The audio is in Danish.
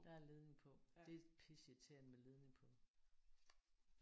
Der er ledning på. Det er pisseirriterende med ledning på